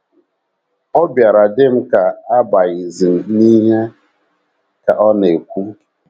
Ọ bịara dị m ka abaghịzi m n’ihe, ” ka ọ na - ekwu..